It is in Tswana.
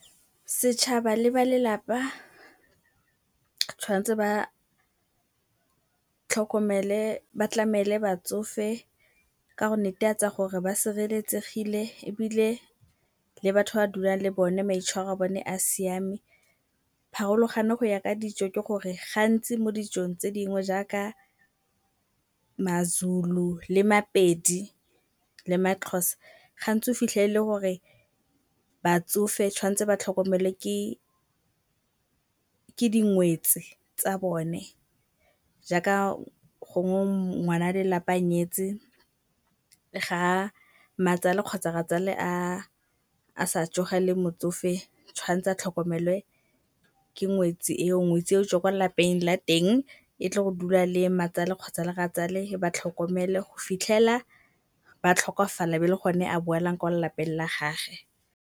Setšhaba le ba lelapa tshwan'tse ba tlhokomele, ba tlamele batsofe ka go netefatsa gore ba sireletsegile ebile le batho ba dulang le bone maitshwaro a bone a siame. Pharologano go ya ka dijo ke gore gantsi mo dijong tse dingwe jaaka Mazulu le Mapedi le Maxhosa gantsi o fitlhela e le gore batsofe tshwan'tse ba tlhokomelwe ke dingwetsi tsa bone jaaka gongwe ngwana lelapa a nyetse ga mmatsale kgotsa rratsale a sa tsoga le motsofe tshwan'tse a tlhokomelwe ke ngwetsi eo, ngwetsi ya gotswa kwa lapeng la teng e tle go dula le mmatsale kgotsa le rratsale e ba tlhokomele go fitlhela ba tlhokofala e be e le go ne a boela kwa lelapeng la gage.